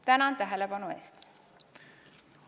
Tänan tähelepanu eest!